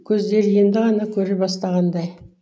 көздері енді ғана көре бастағандай